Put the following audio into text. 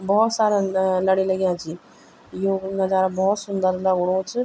बहौत सारा ल लड़ी लग्यां छिं यु नजारा बहौत सुन्दर लगणु च।